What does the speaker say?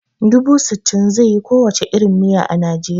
Dubu sittin zai yi ko wace irin miya a Nijeriya